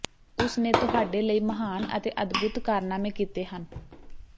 ਉਸ ਨੇ ਤੁਹਾਡੇ ਲਈ ਮਹਾਨ ਅਤੇ ਅਦਭੁਤ ਕਾਰਨਾਮੇ ਕੀਤੇ ਹਨ